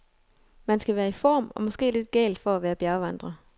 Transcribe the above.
Man skal være i form og måske lidt gal for at være bjergvandrer.